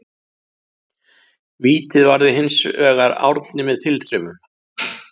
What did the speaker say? Vítið varði hinsvegar Árni með tilþrifum.